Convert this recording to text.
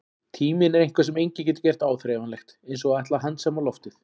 Tíminn er eitthvað sem enginn getur gert áþreifanlegt, eins og að ætla að handsama loftið.